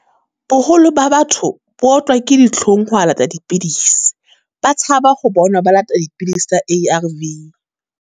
Boholo ba batho, bo otlwa ke ditlhong ho wa lata dipidisi. Ba tshaba ho bonwa ba lata dipidisi tsa A_R_V.